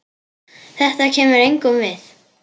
Þetta kemur engum við.